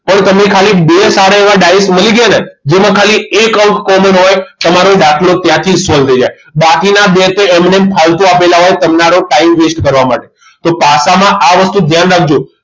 પણ તમે ખાલી બે સારા એવા ડાયસ મળી ગયા ને જેમાં ખાલી એક અંક common હોય તમારો દાખલો ત્યાંથી જ solve થઈ જાય બાકીના બે તો એમ નેમ ફાલતુ આપેલા હોય તમને આનો time waste કરવા માટે તો પાસામાં આ વસ્તુ ધ્યાન રાખજો